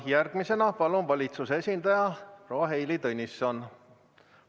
Järgmisena palun siia valitsuse esindaja proua Heili Tõnissoni.